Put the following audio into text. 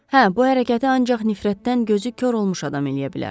Hə, bu hərəkəti ancaq nifrətdən gözü kor olmuş adam eləyə bilər.